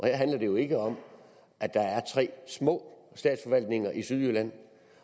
her handler det jo ikke om at der er tre små statsforvaltninger i sydjylland